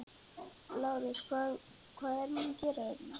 LÁRUS: Hvað er hún að gera hér?